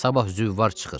Sabah züvvar çıxır.